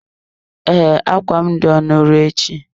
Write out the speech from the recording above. Ee, akwa m dị ọnụ ruo echi.